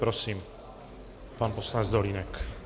Prosím, pan poslanec Dolínek.